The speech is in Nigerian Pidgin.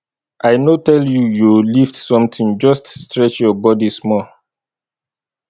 i no tell you yo lift something just stretch your body small